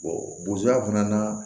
bozoa fana na